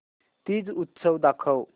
तीज उत्सव दाखव